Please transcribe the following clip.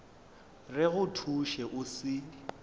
re go thuše o se